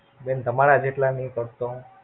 બેન તમારા જેટલા ની કરતો હું.